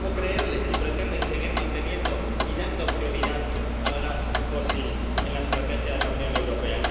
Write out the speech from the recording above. ¿Cómo creerle si pretenden seguir manteniendo y dando prioridad al gas fósil en la estrategia de la Unión Europea?